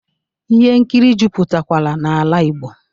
Ihe nkiri jupụtakwara n'ala Igbo